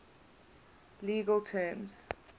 legal terms